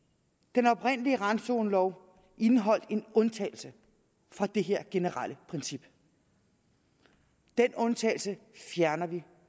den oprindelige randzonelov indeholdt en undtagelse fra dette generelle princip den undtagelse fjerner vi